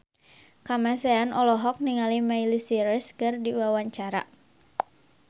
Kamasean olohok ningali Miley Cyrus keur diwawancara